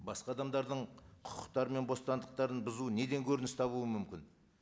басқа адамдардың құқықтары мен бостандықтарын бұзу неден көрініс табуы мүмкін